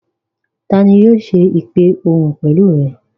Tani yóò ṣe ìpè òhun pẹ̀lú rẹ?